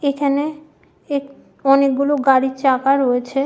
এখানে এক অনেক গুলো গাড়ির চাকা রয়েছে।